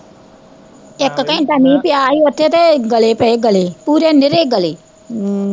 ਇੱਕ ਘੰਟਾ ਮੀਂਹ ਪਿਆ ਸੀ ਓਥੇ ਤੇ ਗਲੇ ਪਏ ਗਲੇ, ਪੂਰੇ ਨਿਰੇ ਗਲੇ ਹਮ